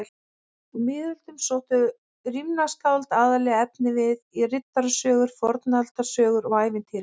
Á miðöldum sóttu rímnaskáld aðallega efnivið í riddarasögur, fornaldarsögur og ævintýri.